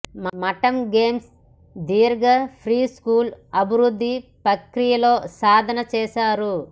మఠం గేమ్స్ దీర్ఘ ప్రీస్కూల్ అభివృద్ధి ప్రక్రియలో సాధన చేశారు